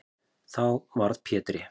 Þá varð Pétri